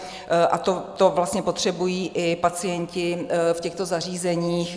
A to vlastně potřebují i pacienti v těchto zařízeních.